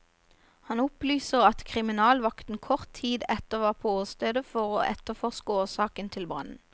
Han opplyser at kriminalvakten kort tid etter var på åstedet for å etterforske årsaken til brannen.